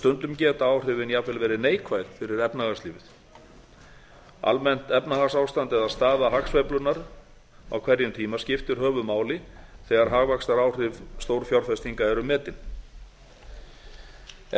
stundum geta áhrifin jafnvel verið neikvæð fyrir efnahagslífið almennt efnahagsástand eða staða hagsveiflunnar á hverjum tíma skiptir höfuðmáli þegar hagvaxtaráhrif stórfjárfestinga eru metin ef